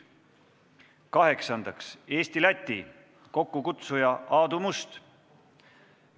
Kaheksandaks, Eesti-Läti, kokkukutsuja on Aadu Must.